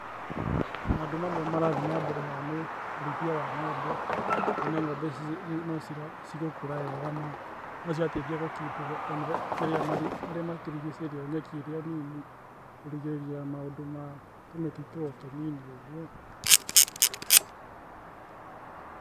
Maũndũ mamwe marathiĩ na mbere haha nĩ urĩithia wa ng'ombe, kwĩna ng'ombe na no cigũkũra wega na nocirateithia gũ keep marĩa matũrigicĩirie nyeki ĩri onini, kurigĩrĩria maũndũ ma tũmĩti o tũnini ũguo